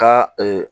Ka